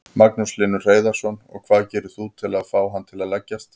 Magnús Hlynur Hreiðarsson: Og hvað gerir þú til að fá hann til að leggjast?